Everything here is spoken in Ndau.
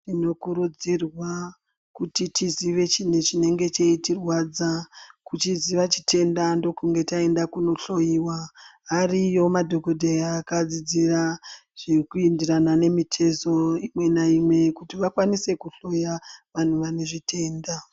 Tinokurudzirwa kuti tizive chintu chinenge cheitirwadza kuchiziva chitenda ndokunge taenda kunohloyiwa ariyo madhokodheya akadzidzira zviri kuenderana nemitezo imwe naimwe kuti vakwanise kuhloya vantu vane zvitenda.